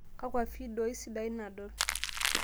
kakua fidioi sidain nadol